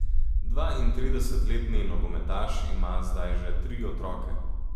Dvaintridesetletni nogometaš ima zdaj že tri otroke.